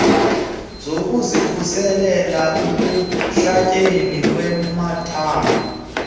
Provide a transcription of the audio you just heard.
zokuzikhusela ekuhlatyweni ngamathambo